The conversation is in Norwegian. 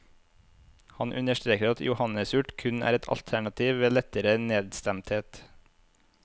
Han understreker at johannesurt kun er et alternativ ved lettere nedstemthet.